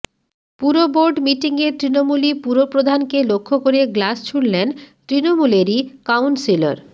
পুরবোর্ড মিটিংয়ে তৃণমূলি পুরপ্রধানকে লক্ষ্য করে গ্লাস ছুড়লেন তৃণমূলেরই কাউন্সিলর